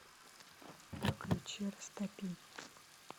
включи растопи